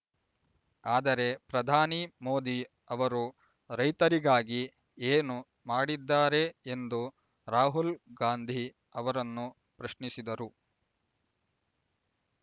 ಆದರೆ ಪ್ರಧಾನಿ ಮೋದಿ ಅವರು ರೈತರಿಗಾಗಿ ಏನು ಮಾಡಿದ್ದಾರೆ ಎಂದು ರಾಹುಲ್ ಗಾಂಧಿ ಅವರನ್ನು ಪ್ರಶ್ನಿಸಿದರು